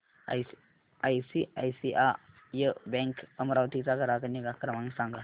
ICICI bank Amravati चा ग्राहक निगा क्रमांक सांगा